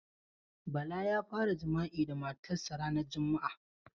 Bala ya fara jima'i da matar sa ranan juma.